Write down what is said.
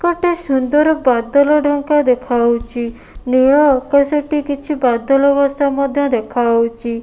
ଗୋଟେ ସୁନ୍ଦର ବାଦଲ ଢ଼ଙ୍କା ଦେଖାଯାଉଛି ନୀଳ ଆକାଶ ଟି କିଛି ବାଦଲ ବସା ମଧ୍ୟ ଦେଖାଯାଉଛି।